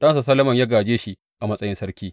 Ɗansa Solomon ya gāje shi a matsayin sarki.